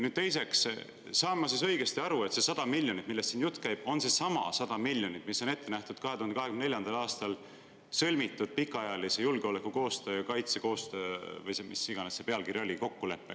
Nüüd, teiseks, kas ma saan õigesti aru, et see 100 miljonit eurot, millest siin jutt käib, on seesama 100 miljonit eurot, mis on ette nähtud 2024. aastal sõlmitud pikaajalise julgeolekukoostöö ja kaitsekoostöö – või mis iganes see pealkiri oli – kokkuleppega?